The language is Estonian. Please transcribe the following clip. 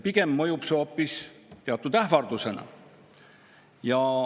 Pigem mõjub see hoopis teatud ähvardusena.